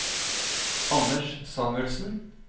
Anders Samuelsen